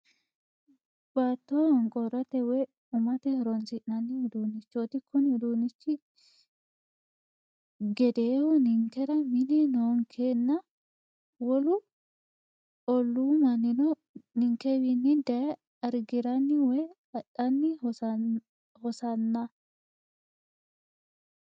Baatto honqoorat woyi umate horonsi'nanni uduunnichoti. Kunni uduunichi gedeehu ninkera mine noonkena wolu olluu mannino ninkewiinni dayee argiranni woyi adhanni hosanna.